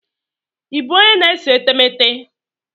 Ị bụ onye na-ese etemeete?